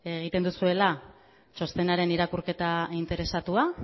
egiten duzuela txostenaren irakurketa interesatua